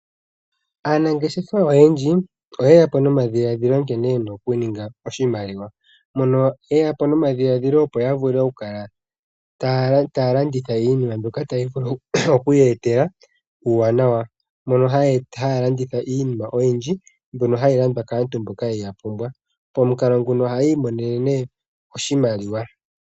Aanangeshefa oyendji oye ya po nomadhiladhilo nkene yena oku etapo oshimaliwa. Oye ya po nomadhiladhilo opo ya vule oku kala taya landitha iinima mbyoka tayi vulu oku yeetela uuwanawa. Ohaya landitha iinima oyindji mbyono hayi landwa kaantu mboka yeyi pumbwa. Momukalo nguno oha yi imonena oshimaliwa.